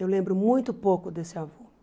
Eu lembro muito pouco desse avô.